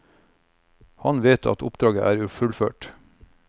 Han vet at oppdraget er fullført.